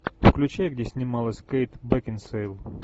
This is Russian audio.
включай где снималась кейт бекинсейл